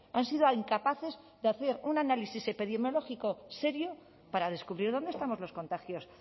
han sido incapaces de hacer un análisis epidemiológico serio para descubrir dónde estamos los contagios